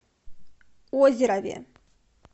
озерове